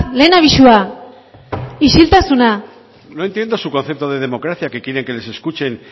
lehen abisua no entiendo su concepto de democracia que quieren que les escuchen